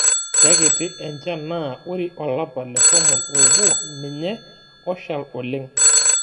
Keikiti enchan naa ore olapa letomon oobo ninye oshal oleng'.